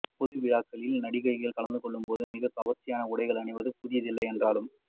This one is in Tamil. பொது விழாக்களில் நடிகைகள் கலந்துக்கொள்ளும் போது மிகவும் கவர்ச்சியான உடைகள் அணிவது புதிதில்லை என்றாலும்